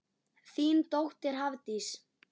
Þín dóttir, Hafdís.